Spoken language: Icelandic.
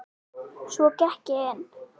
Svo gekk ég inn.